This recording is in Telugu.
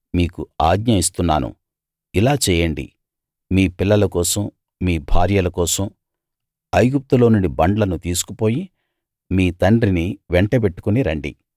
మీకు ఆజ్ఞ ఇస్తున్నాను ఇలా చేయండి మీ పిల్లల కోసం మీ భార్యల కోసం ఐగుప్తులో నుండి బండ్లను తీసుకుపోయి మీ తండ్రిని వెంటబెట్టుకుని రండి